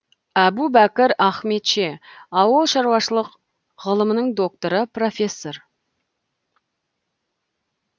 әбубәкір ахметше ауылы шаруашылық ғылым докторы профессор